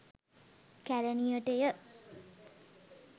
කැලණියට ය.